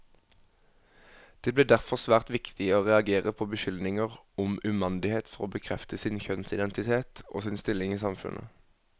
Det ble derfor svært viktig å reagere på beskyldninger om umandighet for å bekrefte sin kjønnsidentitet, og sin stilling i samfunnet.